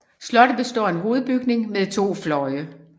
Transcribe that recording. Slottet består af en hovedbygning med to fløje